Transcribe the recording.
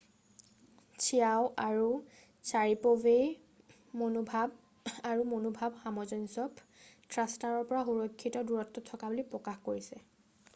Qiao আৰু চাৰিপ'ভে মনোভাৱ আৰু মনোভাৱ সামঞ্জস্য থ্ৰাষ্টাৰৰ পৰা সুৰক্ষিত দূৰত্বত থকা বুলি প্ৰকাশ কৰিছে